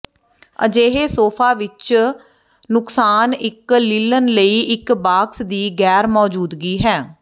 ਅਜਿਹੇ ਸੋਫਾ ਵਿੱਚ ਨਨੁਕਸਾਨ ਇੱਕ ਲਿਨਨ ਲਈ ਇੱਕ ਬਾਕਸ ਦੀ ਗੈਰ ਮੌਜੂਦਗੀ ਹੈ